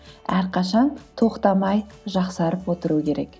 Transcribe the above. әрқашан тоқтамай жақсарып отыру керек